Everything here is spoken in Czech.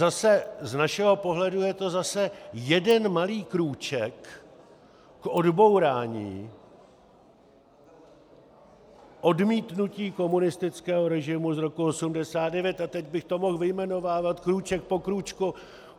Z našeho pohledu je to zase jeden malý krůček k odbourání odmítnutí komunistického režimu z roku 1989, a teď bych to mohl vyjmenovávat krůček po krůčku.